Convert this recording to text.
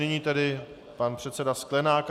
Nyní tedy pan předseda Sklenák.